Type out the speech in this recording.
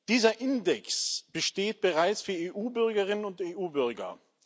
Dieser Index besteht bereits für EU Bürgerinnen und EU Bürger.